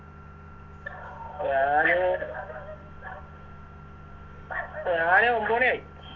ഞാന് ഞാന് ഒമ്പത് മണിയായി